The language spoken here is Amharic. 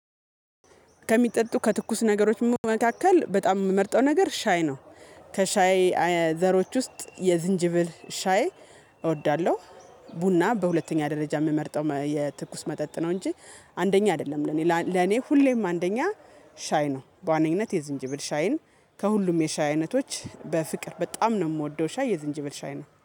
ከሚጠጡ ከትኩስ ነገሮች መካከል በጣም የምመርጠው ነገር ሻይ ነው። ከሻይ ዘሮች ውስጥ የዝንጅብል ሻይ እወዳለሁ። ቡና በሁለተኛ ደረጃ የምመርጠው የትኩስ መጠጥ ነው እንጂ አንደኛ አይደለም። ለኔ ለኔ ሁሌም አንደኛ ሻይ ነው። በዋነኝነት የዝንጅብል ሻይን ከሁሉም የሻይ አይነቶች በፍቅር በጣም ነው የምወደው ሻይ የዝንጅብል ሻይ ነው